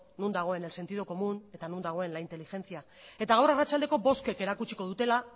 non dagoen el sentido común eta non dagoen la inteligencia eta gaur arratsaldeko bozkek erakutsiko dutela